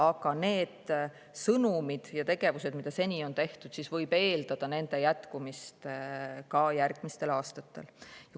Aga samasuguste sõnumite ja tegevuste jätkumist võib eeldada ka järgmistel aastatel.